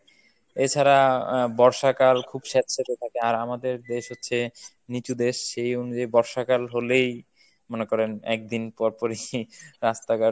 এছাড়া আহ বর্ষাকাল খুব সেঁতসেঁতে থাকে। আর আমাদের দেশ হচ্ছে নিচু দেশ সেই অনুযায়ী বর্ষাকাল হলেই মনে করেন একদিন পরপরই রাস্তা ঘাট